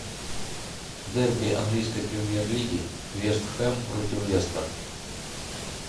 дерби английской премьер лиги вест хэм против лестер